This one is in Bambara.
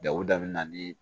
Dawudabana ni